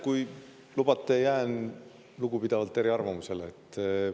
Kui lubate, jään lugupidavalt eriarvamusele.